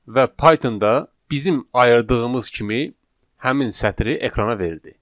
Və Pythonda bizim ayırdığımız kimi həmin sətri ekrana verdi.